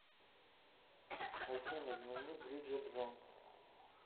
афина дневник бриджет джонс